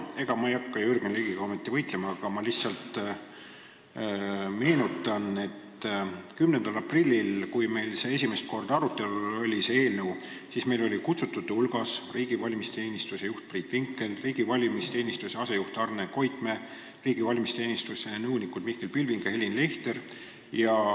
Ega ma ei hakka Jürgen Ligiga ometi võitlema, aga ma lihtsalt meenutan, et 10. aprillil, kui meil see eelnõu esimest korda arutelul oli, olid kutsutute hulgas riigi valimisteenistuse juht Priit Vinkel, asejuht Arne Koitmäe ning nõunikud Mihkel Pilving ja Helin Leichter.